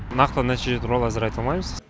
нақты нәтиже туралы әзір айта алмаймыз